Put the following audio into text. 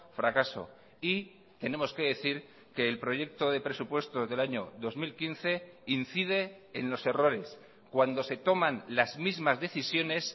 fracaso y tenemos que decir que el proyecto de presupuestos del año dos mil quince incide en los errores cuando se toman las mismas decisiones